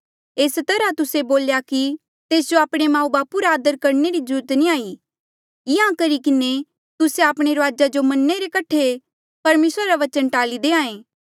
एस तरहा तुस्से बोल्हे कि तेस जो आपणे माऊबापू रा आदर करणे री ज्रूरत नी हाई इंहां करी किन्हें तुस्से आपणे रूआजा जो मन्ने रे कठे ले परमेसरा रा वचन टाल्ली देहां ऐें